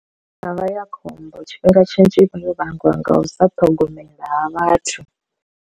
Tshavha ya khombo tshifhinga tshinzhi ivha yo vhangiwa nga u sa ṱhogomela ha vhathu.